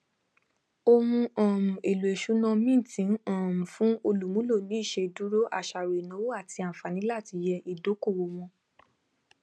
ohun um èlò ìṣúná mint ń um fún olùmúlò ni ìṣèdúró àṣàrò ìnáwó àti àǹfààní láti yẹ ìdókòwò wò